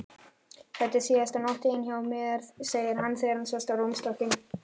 Þetta er síðasta nóttin þín hjá mér, segir hann þegar hann sest á rúmstokkinn.